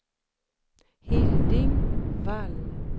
Hilding Wall